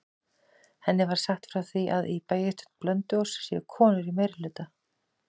Henni er sagt frá því að í bæjarstjórn Blönduóss séu konur í meirihluta.